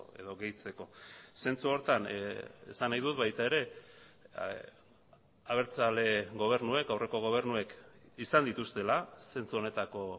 edo gehitzeko zentzu horretan esan nahi dut baita ere abertzale gobernuek aurreko gobernuek izan dituztela zentzu honetako